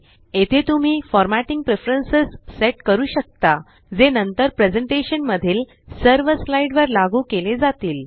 येथे तुम्ही formatting preferences set करू शकता जे नंतर प्रेज़ेंटेशन मधील सर्व स्लाइड वर लागू केले जातील